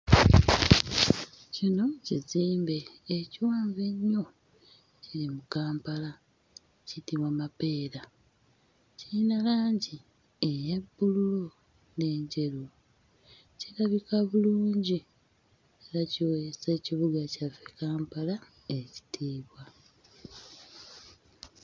Kino kizimbe ekiwanvu ennyo ekiri mu Kampala, kiyitibwa Mapeera. Kiyina langi eya bbululu n'enjeru. Kirabika bulungi era kiweesa ekibuga kyaffe, Kampala ekitiibwa.